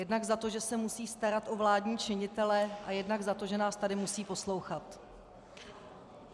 Jednak za to, že se musí starat o vládní činitele, a jednak za to, že nás tady musí poslouchat.